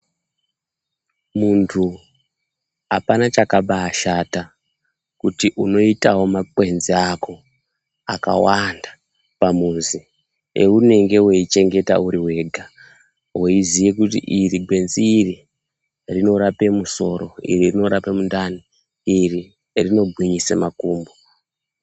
Muntu apana chakabaashata kuti unoitawo makwenzi ako akawanda pamuzi, eunenge weichengeta uriwega weiziya kuti iri gwenzi iri rinorape musoro, iri rinorape mundani, iri rinogwinyise makumbo.